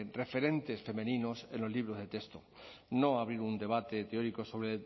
referentes femeninos en los libros de texto no abrir un debate teórico sobre